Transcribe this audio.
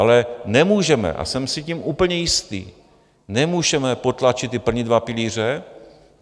Ale nemůžeme, a jsem si tím úplně jistý, nemůžeme potlačit ty první dva pilíře.